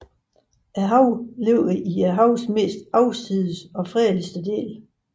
Denne have ligger i havens mest afsides og fredeligste del